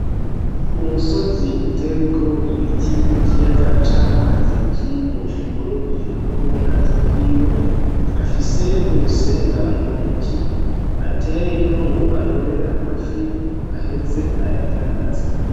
Umusozi uteweko ibiti n'ikiyaga c'amazi kirimwo umurovyi n'ubwato bwiwe, afise urusenga mu ntoki, ateyeyo ngo arobe amafi, ngo aheze ayadandaze.